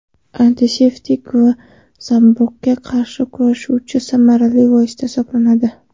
Antiseptik va zamburug‘ga qarshi kurashuvchi samarali vosita hisoblanadi.